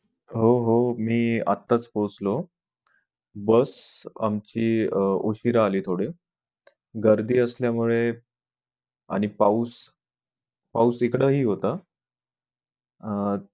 हो हो मी आत्ताच पोहचलो bus आमची अह उशीरा आली थोडी गर्दी असल्यामुळे आणि पाऊस पाऊस इकडे हि होता अह